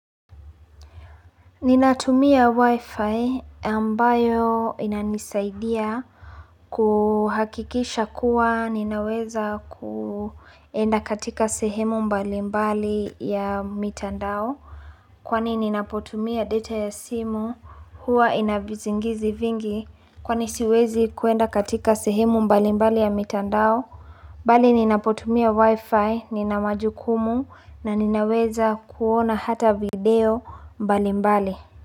Ninatumia wifi ambayo inanisaidia kuhakikisha kuwa ninaweza kuenda katika sehemu mbali mbali ya mitandao Kwani ninapotumia data ya simu huwa inavizingizi vingi kwani siwezi kuenda katika sehemu mbali mbali ya mitandao Bali ninapotumia wifi ninamajukumu na ninaweza kuona hata video mbali mbali.